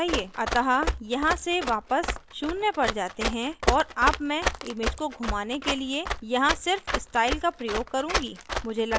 अतः यहाँ से वापस शून्य पर जाते हैं और अब मैं image को घुमाने के लिए यहाँ सिर्फ स्टाइल का प्रयोग करुँगी